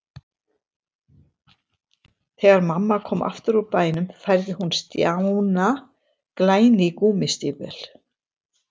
Þegar mamma kom aftur úr bænum færði hún Stjána glæný gúmmístígvél.